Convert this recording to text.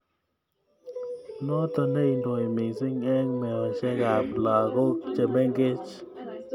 Notok neindoi missing eng meoshek ab lakok chemengech.